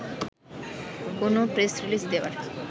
কোনো press release দেওয়ার